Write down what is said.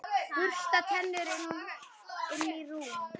Bursta tennur, inn í rúm.